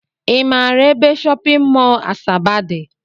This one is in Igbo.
I maara ebe shọpịn mọl Asaba dị?